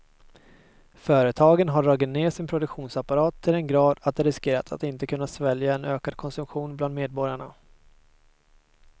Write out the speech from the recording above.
Företagen har dragit ned sin produktionsapparat till den grad att de riskerar att inte kunna svälja en ökad konsumtion bland medborgarna.